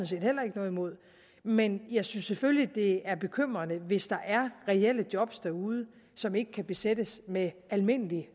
set heller ikke noget imod men jeg synes selvfølgelig det er bekymrende hvis der er reelle job derude som ikke kan besættes med almindelig